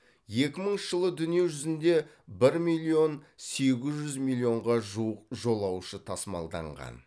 екі мыңыншы жылы дүние жүзінде бір миллион сегіз жүз миллионға жуық жолаушы тасымалданған